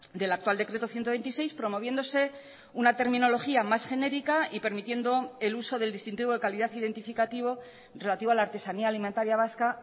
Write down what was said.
del actual decreto ciento veintiséis promoviéndose una terminología más genérica y permitiendo el uso del distintivo de calidad identificativo relativo a la artesanía alimentaria vasca